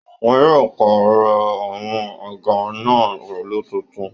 Wọn yóò pàrọ̀ àwọn àga náà pẹ̀lú tuntun